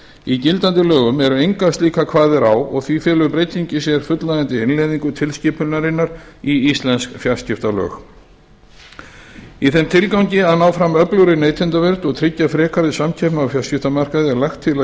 í gildandi lögum eru engar slíkar kvaðir og því felur breytingin í sér fullnægjandi innleiðingu tilskipunarinnar í íslensk fjarskiptalög í þeim tilgangi að ná fram öflugri neytendavernd og tryggja frekari samkeppni á fjarskiptamarkaði er lagt til að